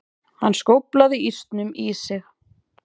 Hann skóflaði ísnum í sig.